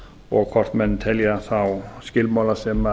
og hvort menn telja þá skilmála sem